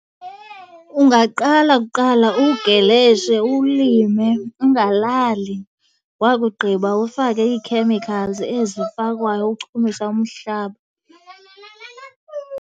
Ungaqala kuqala uwugeleshe, uwulime ungalali, wakugqiba ufake ii-chemicals ezifakwayo ukuchumisa umhlaba.